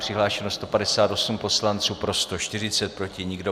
Přihlášeno 158 poslanců, pro 140, proti nikdo.